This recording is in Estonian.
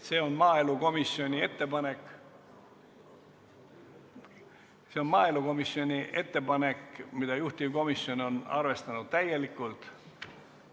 See on maaelukomisjoni ettepanek, mida juhtivkomisjon on täielikult arvestanud.